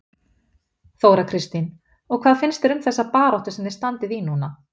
Þóra Kristín: Og hvað finnst þér um þessa baráttu sem þið standið í núna?